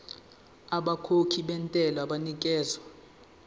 abakhokhi bentela banikezwa